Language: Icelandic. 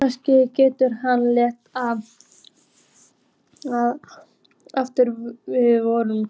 Kannski gæti hann lært það aftur fyrir vorið.